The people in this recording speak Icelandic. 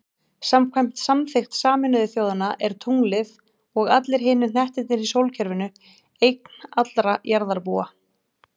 Samkvæmt samþykkt Sameinuðu þjóðanna er tunglið, og allir hinir hnettirnir í sólkerfinu, eign allra jarðarbúa.